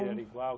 Era igual?